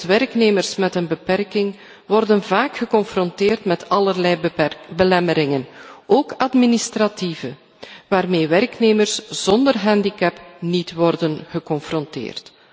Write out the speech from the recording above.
Werknemers met een beperking worden bijvoorbeeld vaak geconfronteerd met allerlei belemmeringen, ook administratieve, waarmee werknemers zonder handicap niet worden geconfronteerd.